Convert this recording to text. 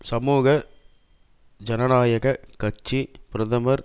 சமூக ஜனநாயக கட்சி பிரதமர்